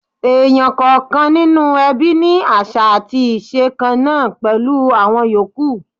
Èèyàn kọ̀ọ̀kan nínú ẹbí ní àṣà àti iṣẹ̀ kan náà pẹ̀lú àwọn yòókù.